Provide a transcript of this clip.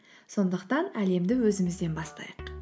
сондықтан әлемді өзімізден бастайық